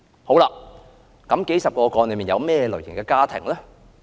這數十宗個案包括哪些類型的家庭呢？